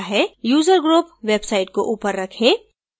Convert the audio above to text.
user group website को ऊपर रखें